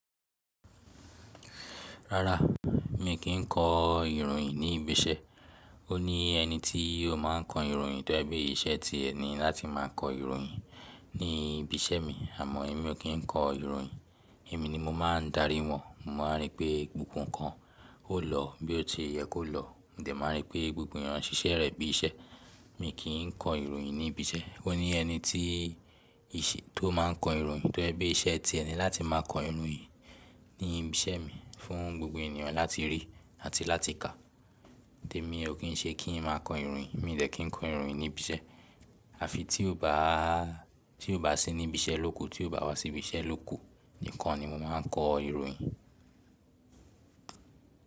Rárá, mi kì í kọ ìròyìn ní ibi iṣẹ́. Ó ní ẹni tí ó máa ń kọ ìròyìn tó jẹ̀ bí iṣẹ́ ti ẹni láti máa kọ ìròyìn ní ibi iṣẹ́ mi. Àmọ́ èmi ò kí ń kọ ìròyìn. Èmi ni mo máa ń darí wọn. Mo máa ń rí pé gbogbo ǹkan ó lọ bí ó ti yẹ kó lọ. Mo dẹ̀ máa ń rí pé gbogbo ènìyàn ṣiṣẹ́ rẹ̀ bí iṣẹ́. Mi kì í kọ ìròyìn ní ibi iṣẹ́. Ó ní ẹni tí ìṣẹ́ tó máa ń kọ ìròyìn tó jẹ̀ bí iṣẹ́ tiẹ ni láti máa kọ ìròyìn ní ibi iṣẹ́ mi fún gbogbo ènìyàn láti rí àti láti kà. Ǹtí èmi ò kín ṣe kí ń máa kọ ìròyìn. Èmi ò dẹ̀ kín kọ ìròyìn ní ibi iṣẹ́. Àfi tí ó bá, tí ó bá sí níbi iṣẹ́ ló kù, tí ó bá wá sí ibi iṣẹ́ ló kù nìkan ni mo máa ń kọ ìròyìn.